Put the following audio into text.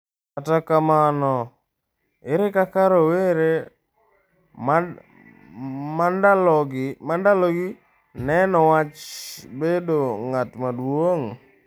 Kata kamano, ere kaka rowere mandalogi neno wach bedo ng'at maduong'?